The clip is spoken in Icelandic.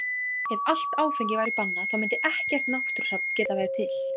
Ef allt áfengi væri bannað þá mundi ekkert náttúrusafn geta verið til.